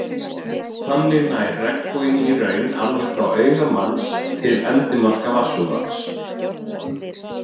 Þannig nær regnboginn í raun alveg frá auga manns til endimarka vatnsúðans.